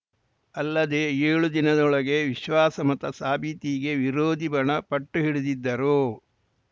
ಅಲ್ಲದೇ ಏಳು ದಿನದೊಳಗೆ ವಿಶ್ವಾಸ ಮತ ಸಾಬೀತಿಗೆ ವಿರೋಧಿ ಬಣ ಪಟ್ಟು ಹಿಡಿದಿದ್ದರು